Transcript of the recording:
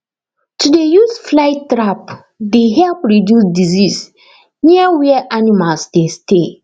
to dey use flly trap dey help reduce disease near where animals dey stay